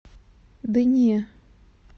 да не